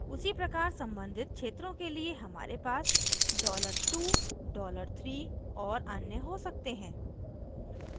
उसी प्रकार सम्बंधित क्षेत्रों के लिए हमारे पास $2 $3 और अन्य हो सकते हैं